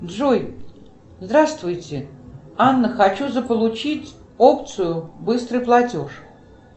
джой здравствуйте анна хочу заполучить опцию быстрый платеж